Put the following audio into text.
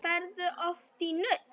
Ferðu oft í nudd?